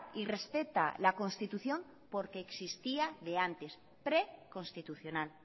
y respeta la constitución porque existía de antes preconstitucional